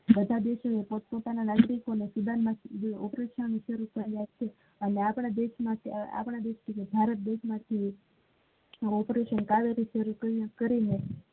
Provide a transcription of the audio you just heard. બંધા દેશ માં પોત પોતાના license અને operation કરવા માં આવ્યુ છે અને આપડા દેશ માં ભારત દેશ માં operation કાવેરી શરૂ કરી ને